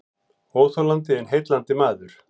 Óþolandi en heillandi maður